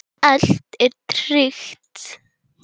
Allt er tryggt.